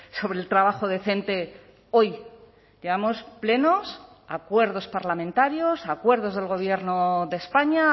sobre el trabajo decente hoy llevamos plenos acuerdos parlamentarios acuerdos del gobierno de españa